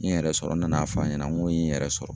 N ye n yɛrɛ sɔrɔ, n nana fɔ n ɲɛna n ko ye n yɛrɛ sɔrɔ.